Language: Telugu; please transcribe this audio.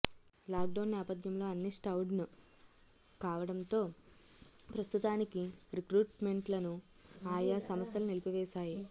లాక్డౌన్ నేపథ్యంలో అన్నీ షట్డౌన్ కావడంతో ప్రస్తుతానికి రిక్రూట్మెంట్లను ఆయా సంస్థలు నిలిపివేశాయి